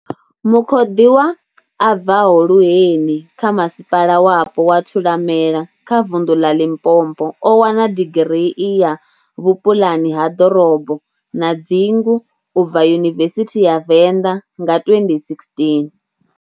Mukhoḓiwa, a bvaho Luheni kha masipala wapo wa thulamela kha vundu ḽa Limpopo o wana digirii ya vhupuḽani ha ḓorobo na dzingu u bva yunivesithi ya Venḓa nga 2016.